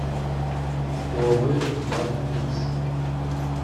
хуавей мат икс